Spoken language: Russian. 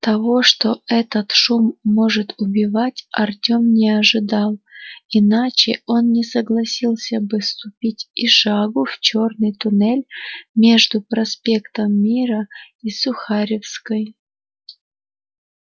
того что этот шум может убивать артём не ожидал иначе он не согласился бы ступить и шагу в чёрный туннель между проспектом мира и сухаревской